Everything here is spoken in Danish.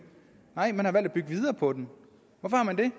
nej man har valgt at bygge videre på den hvorfor har man det